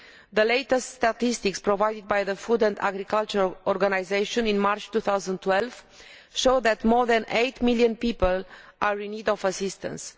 The latest statistics provided by the Food and Agriculture Organization, in March 2012, show that more than 8 million people are in need of assistance.